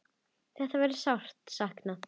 Þeirra verður sárt saknað.